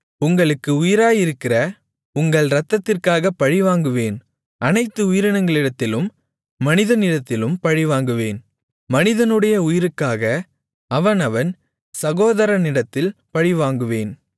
உங்களுக்கு உயிராயிருக்கிற உங்கள் இரத்தத்திற்காகப் பழிவாங்குவேன் அனைத்து உயிரினங்களிடத்திலும் மனிதனிடத்திலும் பழிவாங்குவேன் மனிதனுடைய உயிருக்காக அவனவன் சகோதரனிடத்தில் பழிவாங்குவேன்